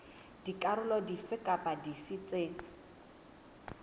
dikarolo dife kapa dife tse